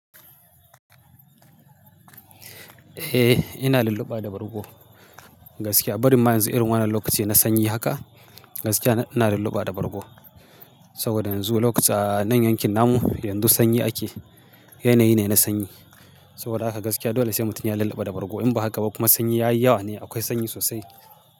Eh ina lulluɓa da bargo. Gaskiya, barin ma yanzu irin wannan lokaci na sanyi haka, gaskiya ina lulluɓa da bargo. Saboda yanzu lokaci a nan yankin namu yanzu sanyi ake, yanayi ne na sanyi. Saboda haka gaskiya dole sai mutun ya lulluɓa da bargo. In ba haka ba kuma sanyi ya yi yawa ne, akwai sanyi sosai.